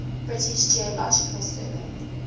british geological survey